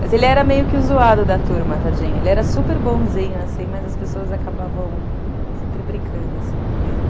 Mas ele era meio que o zoado da turma, tadinho, ele era super bonzinho, mas as pessoas acabavam sempre brincando com ele.